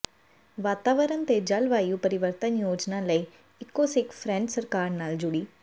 ਵਾਤਾਵਰਨ ਤੇ ਜਲਵਾਯੂ ਪਰਿਵਰਤਨ ਯੋਜਨਾ ਲਈ ਈਕੋਸਿੱਖ ਫਰੈਂਚ ਸਰਕਾਰ ਨਾਲ ਜੁੜੀ